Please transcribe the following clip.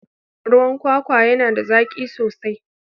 Ruwan kwakwa yana da zaki sosai.